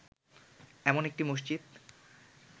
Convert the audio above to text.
এমন একটি মসজিদ